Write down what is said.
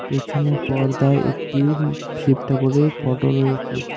পেছনে পর্দায় একটি উম্ শিব ঠাকুরের ফোটো রয়েছে।